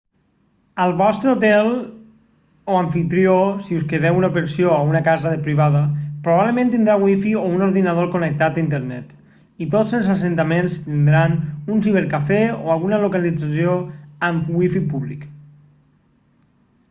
el vostre hotel o amfitrió si us quedeu a una pensió o a una casa privada probablement tindrà wifi o un ordinador connectat a internet i tots els assentaments tindran un cibercafè o alguna localització amb wifi públic